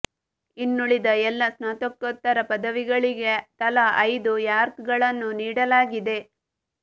ಇನ್ನುಳಿದ ಎಲ್ಲ ಸ್ನಾತಕೋತ್ತರ ಪದವಿಗಳಿಗೆ ತಲಾ ಐದು ರ್ಯಾಂಕ್ ಗಳನ್ನು ನೀಡಲಾಗಿದೆ